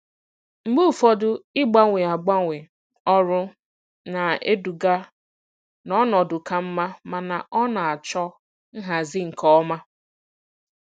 Mgbe ụfọdụ ịgbanwe ịgbanwe ọrụ na-eduga n'ọnọdụ ka mma, mana ọ na-achọ nhazi nke ọma.